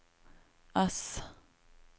S